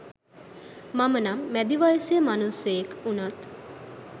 මම නම් මැදි වයසේ මනුස්සයෙක් වුනත්